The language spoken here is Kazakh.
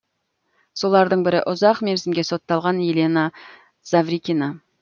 солардың бірі ұзақ мерзімге сотталған елена заврикина